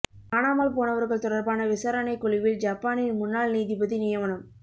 காணாமல் போனவர்கள் தொடர்பான விசாரணை குழுவில் ஜப்பானின் முன்னாள் நீதிபதி நியமனம்